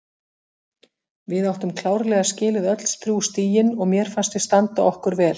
Við áttum klárlega skilið öll þrjú stigin og mér fannst við standa okkur vel.